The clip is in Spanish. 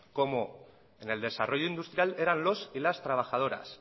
como en el desarrollo industrial eran los y las trabajadoras